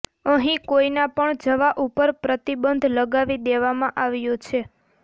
અહીં કોઇના પણ જવા ઉપર પ્રતિબંધ લગાવી દેવામાં આવ્યો છે